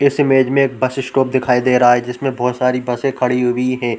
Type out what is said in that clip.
इस इमेज में एक बस स्टॉप दिखाई दे रहा है जिस में बहोत सारी बसें खड़ी हुई है।